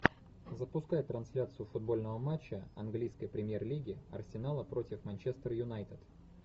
запускай трансляцию футбольного матча английской премьер лиги арсенала против манчестер юнайтед